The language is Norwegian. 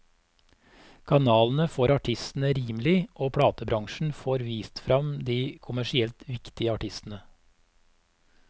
Kanalene får artistene rimelig, og platebransjen får vist frem de kommersielt viktige artistene.